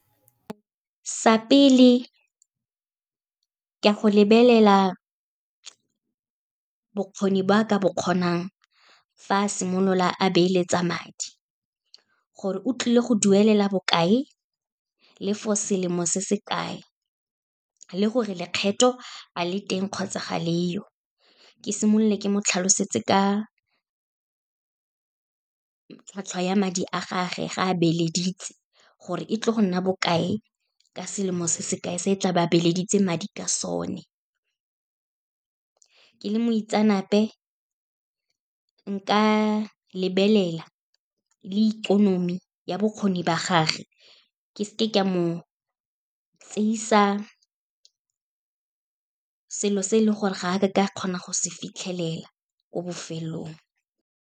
Sa pele, ke a lebelela bokgoni ba a ka bokgonang, fa a simolola a beeletsa madi, gore o tlile go duelela bokae, le for selemo se se kae, le gore lekgetho a le teng kgotsa ga le yo. Ke simolole, ke mo tlhalosetse ka tlhwatlhwa ya madi a gage, ga a beeleditse, gore e tle go nna bokae, ka selemo se se kae, sa e tla ba beeleditse madi ka sone. Ke le moitseanape, nka lebelela le ikonomi ya bokgoni ba gage, ke seke ka mo tseisa selo se e leng gore ga ke ka kgona go se fitlhelela ko bofelong.